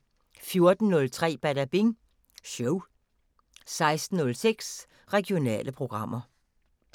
14:03: Badabing Show 16:06: Regionale programmer